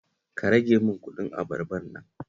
Ka rage min kuɗin abarbar nan